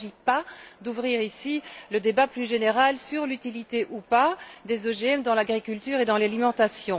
Il ne s'agit pas d'ouvrir ici le débat plus général sur l'utilité ou pas des OGM dans l'agriculture et dans l'alimentation.